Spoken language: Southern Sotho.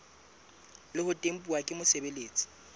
le ho tempuwa ke mosebeletsi